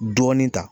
Dɔɔni ta